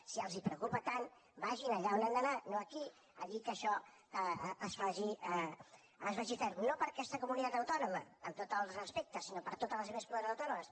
si els preocupa tant vagin allà on han d’anar no aquí a dir que això es vagi fent no per aquesta comunitat autònoma amb tots els respectes sinó per a totes les altres comunitats autònomes